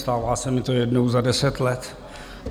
Stává se mi to jednou za deset let.